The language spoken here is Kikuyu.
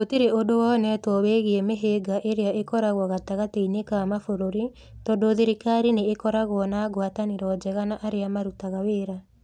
Gũtirĩ ũndũ wonetwo wĩgiĩ mĩhĩnga ĩrĩa ĩkoragwo gatagatĩ-inĩ ka mabũrũri tondũ thirikari nĩ ĩkoragwo na ngwatanĩro njega na arĩa marũtaga wĩra.